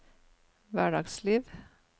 hverdagsliv